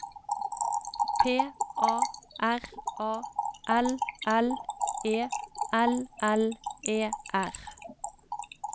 P A R A L L E L L E R